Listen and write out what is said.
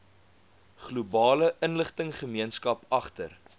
globale inligtinggemeenskap agter